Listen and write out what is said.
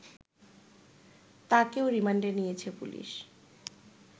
তাকেও রিমান্ডে নিয়েছে পুলিশ